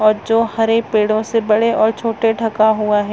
--और जो हरे पेड़ो से बड़े और छोटे ढका हुआ है।